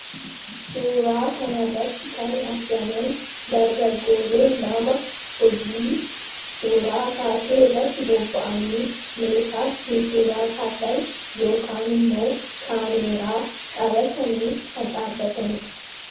suuraa kana irratti kan argaman dargagoolee lama hojii suuraa kaasuu irratti bobba'anii meeshaa ittiin suuraa kaasan yookan immoo kaameeraa qabatanii kan dhaabataniidha.